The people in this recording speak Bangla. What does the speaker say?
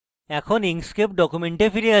এখন inkscape document ফিরে আসি